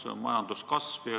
See on majanduskasv.